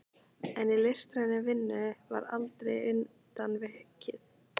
En í listrænni vinnu var aldrei undan vikið.